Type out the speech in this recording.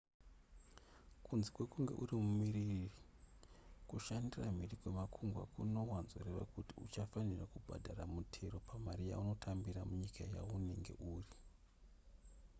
kunze kwekunge uri mumiririri kushandira mhiri kwemakungwa kunowanzoreva kuti uchafanira kubhadhara mutero pamari yaunotambira munyika yaunenge uri